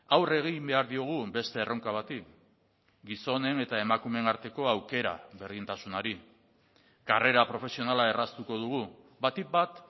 aurre egin behar diogun beste erronka bati gizonen eta emakumeen arteko aukera berdintasunari karrera profesionala erraztuko dugu batik bat